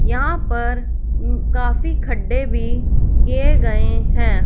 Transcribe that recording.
यहां पर उम्म काफी खड्डे भी किए गए हैं।